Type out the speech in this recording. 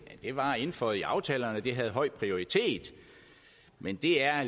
var indføjet i aftalerne og at det havde høj prioritet men det er